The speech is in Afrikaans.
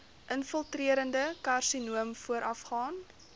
infiltrerende karsinoom voorafgaan